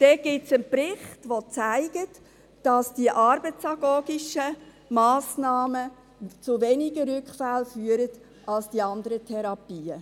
Es gibt einen Bericht, der zeigt, dass die arbeitsagogischen Massnahmen zu weniger Rückfällen führen als die anderen Therapien.